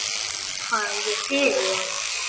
Hvað er ég fyrir þér?